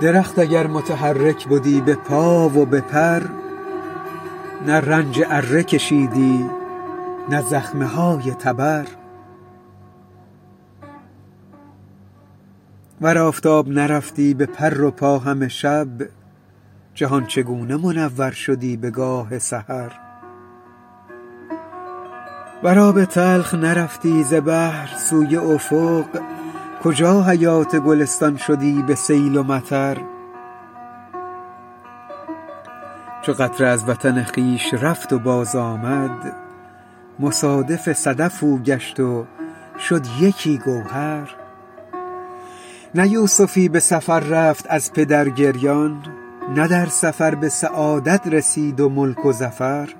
درخت اگر متحرک بدی به پا و به پر نه رنج اره کشیدی نه زخمه های تبر ور آفتاب نرفتی به پر و پا همه شب جهان چگونه منور شدی بگاه سحر ور آب تلخ نرفتی ز بحر سوی افق کجا حیات گلستان شدی به سیل و مطر چو قطره از وطن خویش رفت و بازآمد مصادف صدف او گشت و شد یکی گوهر نه یوسفی به سفر رفت از پدر گریان نه در سفر به سعادت رسید و ملک و ظفر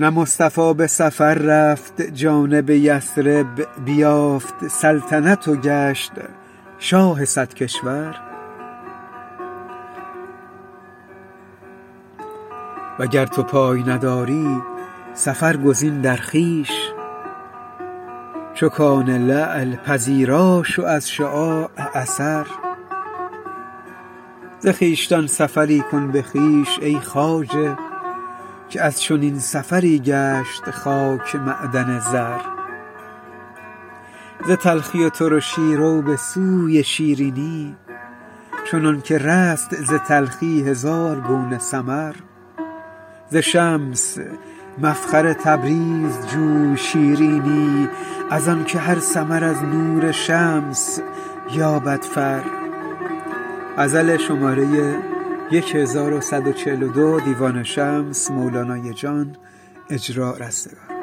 نه مصطفی به سفر رفت جانب یثرب بیافت سلطنت و گشت شاه صد کشور وگر تو پای نداری سفر گزین در خویش چو کان لعل پذیرا شو از شعاع اثر ز خویشتن سفری کن به خویش ای خواجه که از چنین سفری گشت خاک معدن زر ز تلخی و ترشی رو به سوی شیرینی چنانک رست ز تلخی هزار گونه ثمر ز شمس مفخر تبریز جوی شیرینی از آنک هر ثمر از نور شمس یابد فر